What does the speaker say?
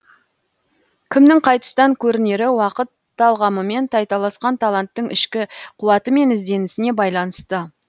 кімнің қай тұстан көрінері уақыт талғамымен тайталасқан таланттың ішкі қуаты мен ізденісіне байланысты